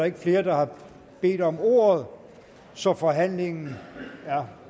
ikke flere der har bedt om ordet så forhandlingen er